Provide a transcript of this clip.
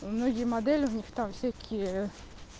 многие модели в них там всякие